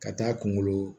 Ka taa kungolo